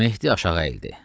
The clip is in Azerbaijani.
Mehdi aşağı əyildi.